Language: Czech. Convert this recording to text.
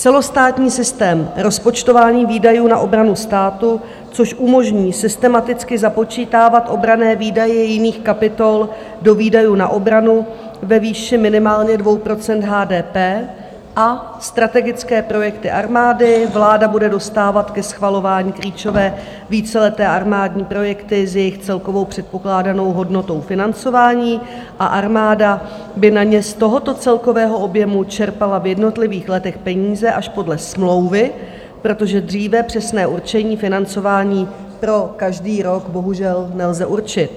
Celostátní systém rozpočtování výdajů na obranu státu, což umožní systematicky započítávat obranné výdaje jiných kapitol do výdajů na obranu ve výši minimálně 2 % HDP a strategické projekty armády, vláda bude dostávat ke schvalování klíčové víceleté armádní projekty s jejich celkovou předpokládanou hodnotou financování a armáda by na ně z tohoto celkového objemu čerpala v jednotlivých letech peníze až podle smlouvy, protože dříve přesné určení financování pro každý rok bohužel nelze určit.